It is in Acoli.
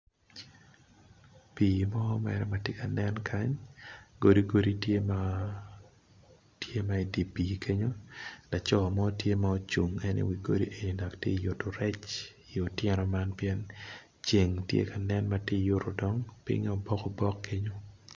pii mo tye ka nen kany odi mo gitye i dye oii man laco mo tye ma ocung i wi godi man pinye tye ma obokobok